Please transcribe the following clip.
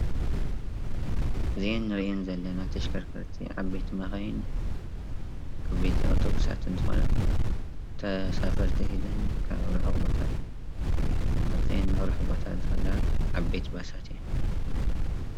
እዘ እንርእየን ዘለና ተሽከርከርቲ ዓበይቲ መካይን ዓበይቲ ኣብቶብሳትን እንትኮና ተሳፈርቲ ሒዘን ካብ ርሑቅ ቦታ መጺኤን ናብ ርሑቅ ቦታ ዝከዳ ዓበይቲ ባሳት እየን።